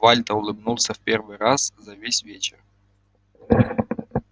вальто улыбнулся в первый раз за весь вечер